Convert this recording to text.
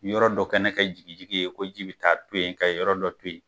Yɔrɔ dɔ kɛnɛ ka jigi jigi ye ko ji bɛ taa to yen ka yɔrɔ dɔ to yen.